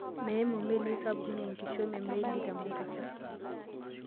Meimu melii sapukinn enkishomi oo melii te mombasa.